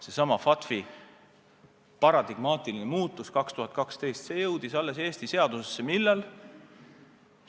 Seesama FATF-i paradigmaline muutus aastal 2012 jõudis Eesti seadusesse millal?